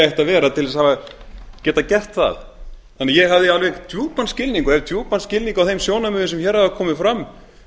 að vera til að geta gert það þannig að ég hef djúpan skilning á þeim sjónarmiðum sem hér hafa komið fram